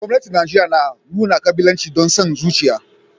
Gwamnatin Najeriya na nuna kabilanci da son zuciya